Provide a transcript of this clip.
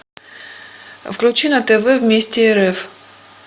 включи на тв вместе рф